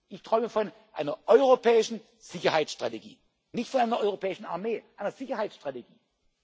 Ich träume von einer europäischen Sicherheitsstrategie, nicht von einer europäischen Armee, von einer Sicherheitsstrategie.